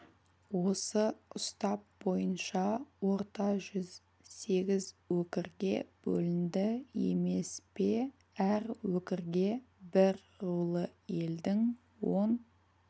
осы ұстап бойынша орта жүз сегіз өкірге бөлінді емес пе әр өкірге бір рулы елдің он